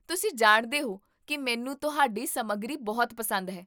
ਤੁਸੀਂ ਜਾਣਦੇ ਹੋ ਕੀ ਮੈਨੂੰ ਤੁਹਾਡੀ ਸਮੱਗਰੀ ਬਹੁਤ ਪਸੰਦ ਹੈ